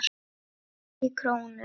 EKKI KRÓNU?